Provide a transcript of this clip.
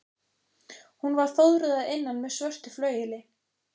Hún var fóðruð að innan með svörtu flaueli.